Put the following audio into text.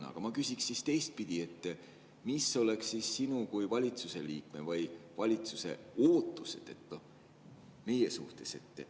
Aga ma küsiksin siis teistpidi: mis oleks sinu kui valitsuse liikme või valitsuse ootused meie suhtes?